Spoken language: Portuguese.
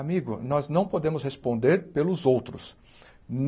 Amigo, nós não podemos responder pelos outros.